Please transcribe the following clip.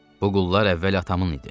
Bu qullar əvvəl atamın idi.